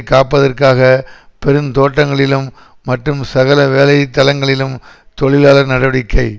காப்பதற்காக பெருந்தோட்டங்களிலும் மற்றும் சகல வேலை தளங்களிலும் தொழிலாளர் நடவடிக்கை